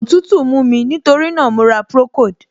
Òtútù mú mí, nítorí náà, mo ra procold.